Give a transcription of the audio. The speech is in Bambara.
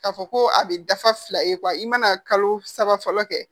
K'a fɔ ko a bɛ dafa fila ye i mana kalo saba fɔlɔ kɛ